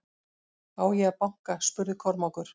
Á ég að banka spurði Kormákur.